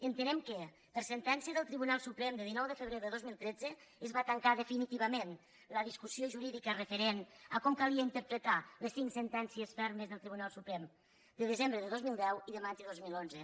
entenem que per sentència del tribunal suprem de dinou de febrer de dos mil tretze es va tancar definitivament la discussió jurídica referent a com calia interpretar les cinc sentències fermes del tribunal suprem de desembre de dos mil deu i de maig de dos mil onze